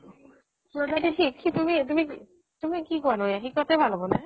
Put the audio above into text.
কি তুমি তুমি কি কোৱানো হে শিকোৱাতো ভাল হব নে?